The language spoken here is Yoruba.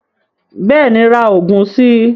Bẹ́ẹ̀ni ra oògùn si